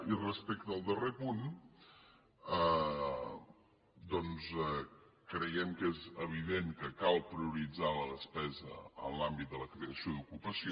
i respecte al darrer punt doncs creiem que és evident que cal prioritzar la despesa en l’àmbit de la creació d’ocupació